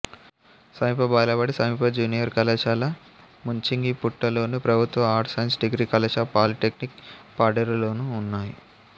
సమీప బాలబడి సమీప జూనియర్ కళాశాల ముంచింగిపుట్టులోను ప్రభుత్వ ఆర్ట్స్ సైన్స్ డిగ్రీ కళాశాల పాలీటెక్నిక్ పాడేరులోనూ ఉన్నాయి